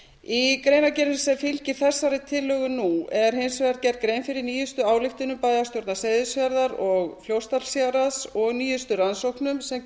í greinargerðinni sem fylgir þessari tillögu nú er hins vegar gerð grein fyrir nýjustu ályktunum bæjarstjórnar seyðisfjarðar og fljótsdalshéraðs og og nýjustu rannsóknum sem